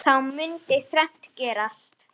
Þá mundi þrennt gerast